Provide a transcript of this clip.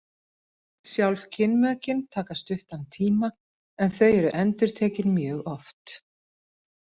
Sjálf kynmökin taka stuttan tíma en þau eru endurtekin mjög oft.